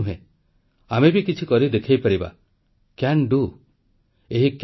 କିନ୍ତୁ ଭାରତର ଲୋକଙ୍କ ଉତ୍ସାହ ଊଣା ହୁଏନି ଆମେ ବି କିଛି କମ୍ ନୋହୁଁ ଆମେ ବି କିଛି କରି ଦେଖାଇବା